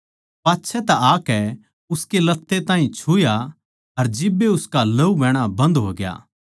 पाच्छै तै आकै उसकै लत्ते ताहीं छुया अर जिब्बे उसका लहू बहणा बन्द होगा